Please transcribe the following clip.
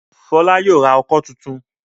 Fola yóò rà ọkọ́ títún.